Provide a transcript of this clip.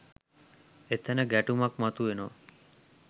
එතැන ගැටුමක් මතුවෙනවා.